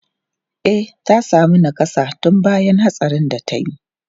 E, ta sami nakassa tun bayan hatsarin da ta yi.